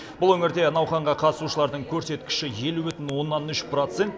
бұл өңірде науқанға қатысушылардың көрсеткіші елу бүтін оннан үш процент